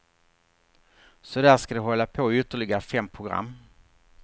Så där ska de hålla på i ytterligare fem program.